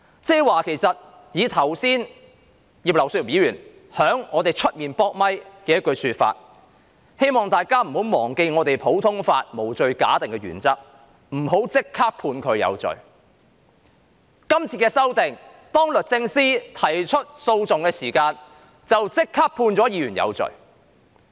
然而，剛才葉劉淑儀議員在會議廳外會見記者時卻說"希望大家不要忘記普通法的無罪推定原則，不要立即將有關人士視為有罪"。